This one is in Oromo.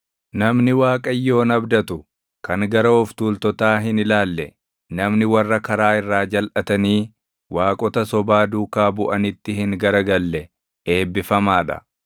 Namni Waaqayyoon abdatu, kan gara of tuultotaa hin ilaalle, namni warra karaa irraa jalʼatanii waaqota sobaa duukaa buʼinitti hin gara galle // eebbifamaa dha.